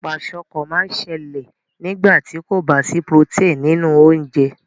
Kwashiorkor má n sẹlẹ̀ nígbàtí kò ba sí protein nínú ounjẹ